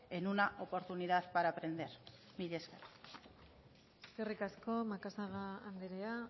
en una oportunidad para aprender mila esker eskerrik asko macazaga andrea